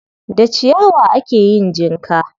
Da ciyawa ake yin jinka.